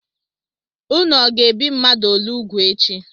Ụnụ ọga ebi mmadụ ole úgwù echi?